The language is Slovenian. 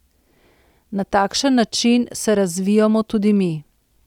Na takšen način se razvijamo tudi mi!